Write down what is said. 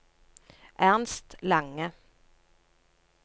Ernst Lange